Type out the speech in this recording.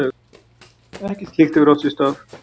Ekkert slíkt hefur átt sér stað